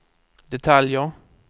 detaljer